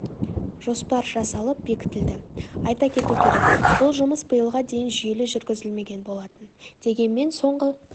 жоспар жасалып бекітілді айта кету керек бұл жұмыс биылға дейін жүйелі жүргізілмеген болатын дегенмен соңғы